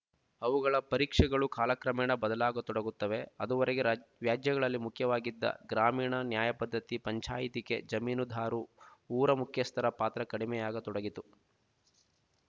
ಅವುಗಳ ಪರೀಕ್ಷೆಗಳು ಕಾಲಕ್ರಮೇಣ ಬದಲಾಗತೊಡಗುತ್ತವೆ ಅದುವರೆಗೆ ರಾಜ ವ್ಯಾಜ್ಯಗಳಲ್ಲಿ ಮುಖ್ಯವಾಗಿದ್ದ ಗ್ರಾಮೀಣ ನ್ಯಾಯಪದ್ಧತಿ ಪಂಚಾಯತಿಕೆ ಜಮೀನುದಾರು ಊರ ಮುಖ್ಯಸ್ಥರ ಪಾತ್ರ ಕಡಿಮೆಯಾಗತೊಡಗಿತು